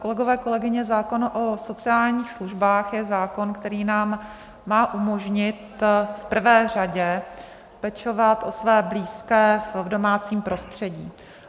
Kolegové, kolegyně, zákon o sociálních službách je zákon, který nám má umožnit v prvé řadě pečovat o své blízké v domácím prostředí.